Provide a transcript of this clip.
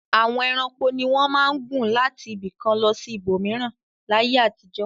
Àwọn ẹranko ni wọ́n máa ń gùn láti ibì kan lọ sí ibòmíràn láyé àtijọ́.